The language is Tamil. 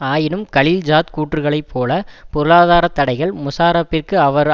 ஆயினும் கலில் ஜாத் கூற்றுக்களைப் போல பொருளாதார தடைகள் முஷாராப்பிற்கு அவர்